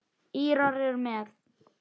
Írar eru með.